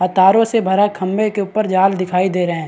तारों से भरा खम्भें के ऊपर जाल दिखाई दे रहे है।